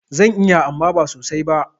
Zan iya amma ba sosai ba.